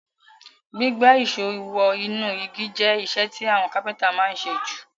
Gbígbá ìsó wo inú igi je isẹ́ ti àwon carpenter ma n sé ju